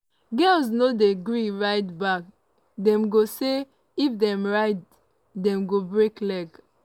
"girls no dey gree ride bike dem go say if dem ride dem go break leg.